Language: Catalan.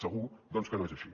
segur doncs que no és així